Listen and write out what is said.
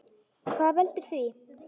Hvað veldur því?